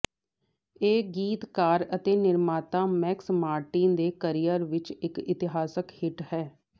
ਇਹ ਗੀਤਕਾਰ ਅਤੇ ਨਿਰਮਾਤਾ ਮੈਕਸ ਮਾਰਟਿਨ ਦੇ ਕਰੀਅਰ ਵਿੱਚ ਇੱਕ ਇਤਿਹਾਸਕ ਹਿੱਟ ਹੈ